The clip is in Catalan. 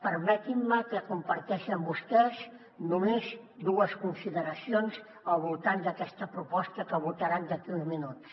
permetin me que comparteixi amb vostès només dues consideracions al voltant d’aquesta proposta que votaran d’aquí a uns minuts